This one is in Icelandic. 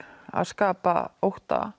að skapa ótta